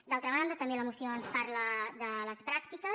d’altra banda també la moció ens parla de les pràctiques